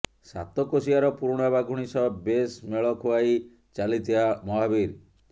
ସାତକୋଶିଆର ପୁରୁଣା ବାଘୁଣୀ ସହ ବେଶ୍ ମେଳ ଖୁଆଇ ଚାଲିଥିଲା ମହାବୀର